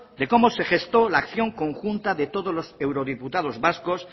de cómo se gestó la acción conjunta de todos los eurodiputados vascos